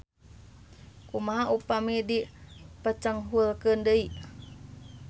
Kumaha upami dipecenghulkeun deui.